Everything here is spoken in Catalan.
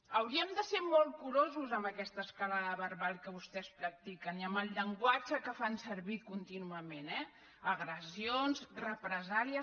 hauríem de ser molt curosos amb aquesta escalada verbal que vostès practiquen i amb el llenguatge que fan servir contínuament eh agressions represàlies